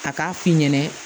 A k'a f'i ɲɛna